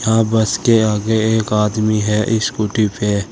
यहां बस के आगे एक आदमी है स्कूटी पे।